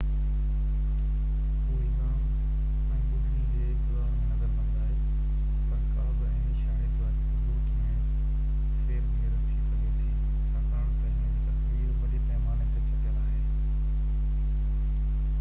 هو الزام ۽ ٻُڌڻي جي انتظار ۾ نظربند آهي پر ڪا بہ عيني شاهدي واري ثبوت ۾ ڦير گهير ٿي سگهي ٿي ڇاڪاڻ تہ هن جي تصوير وڏي پئماني تي ڇپيل آهي